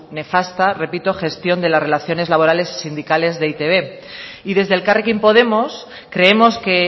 nefasta repito gestión de las relaciones laborales y sindicales de e i te be y desde elkarrekin podemos creemos que